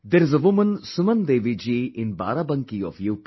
There is a woman Suman Devi Ji in Barabanki of U